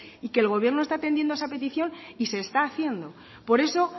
y que el gobierno está atendiendo a esa petición y se está haciendo por eso